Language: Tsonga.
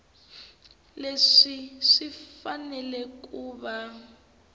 leswi swi fanele ku va